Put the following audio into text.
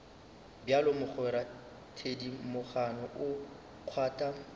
bjalo mogwera thedimogane o kgwatha